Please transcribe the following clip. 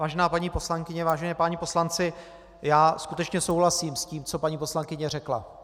Vážená paní poslankyně, vážení páni poslanci, já skutečně souhlasím s tím, co paní poslankyně řekla.